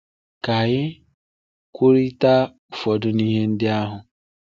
Ka anyị kwurịta ụfọdụ n’ime ihe ndị ahụ.